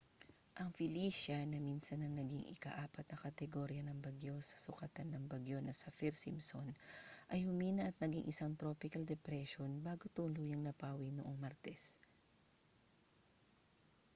ang felicia na minsan nang naging ika-4 na kategorya ng bagyo sa sukatan ng bagyo na saffir-simpson ay humina at naging isang tropical depression bago tuluyang napawi noong martes